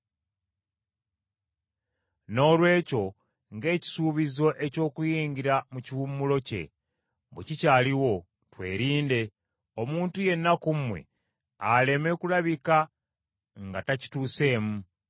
Noolwekyo ng’ekisuubizo eky’okuyingira mu kiwummulo kye, bwe kikyaliwo, twerinde, omuntu yenna ku mmwe aleme kulabika nga takituuseemu.